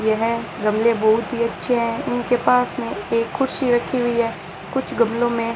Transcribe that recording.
यह गमले बहुत ही अच्छे हैं उनके पास में एक कुर्सी रखी हुई है कुछ गमलों में --